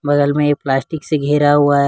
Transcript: बगल में ये प्लास्टिक से घिरा हुआ है।